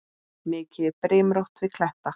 Mikið er brimrót við kletta.